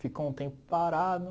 Ficou um tempo parado.